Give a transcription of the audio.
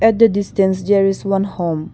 at the distance there is one home.